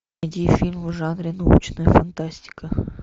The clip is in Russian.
найди фильм в жанре научная фантастика